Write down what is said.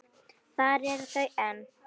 Þar eru þau enn.